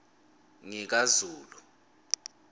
ngikazulu